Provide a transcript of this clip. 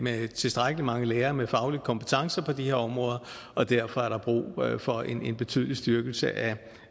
at have tilstrækkelig mange lærere med faglige kompetencer på de her områder og derfor er der brug for en betydelig styrkelse af